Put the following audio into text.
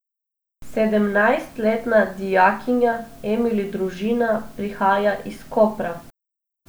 Sedemnajstletna dijakinja Emili Družina prihaja iz Kopra.